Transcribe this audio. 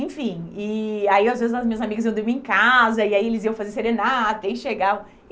Enfim, e aí às vezes as minhas amigas iam dormir em casa, e aí eles iam fazer serenata, e aí chegavam.